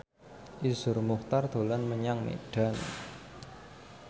Iszur Muchtar dolan menyang Medan